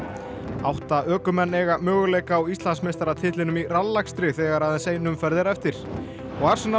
átta ökumenn eiga möguleika á Íslandsmeistaratitlinum í rallakstri þegar aðeins ein umferð er eftir og